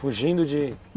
Fugindo de...